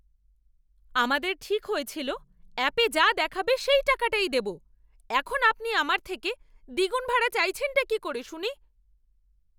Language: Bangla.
আমাদের ঠিক হয়েছিল অ্যাপে যা দেখাবে সেই টাকাটাই দেব। এখন আপনি আমার থেকে দ্বিগুণ ভাড়া চাইছেনটা কী করে শুনি!